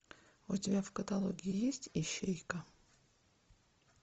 у тебя в каталоге есть ищейка